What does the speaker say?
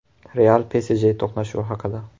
“Real”PSJ to‘qnashuvi haqida.